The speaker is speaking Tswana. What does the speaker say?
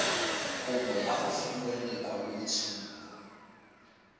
kopo ya go fiwa lekwaloitshupo